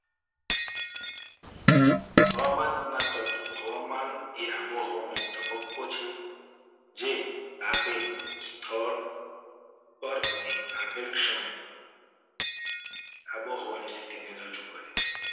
હવામાનના તત્વો હવામાન એ આબોહવાનો એક તબક્કો છે. જે આપેલ સ્થળ પર અને આપેલ ક્ષણે આબોહવાની સ્થિતિને રજૂ કરે છે.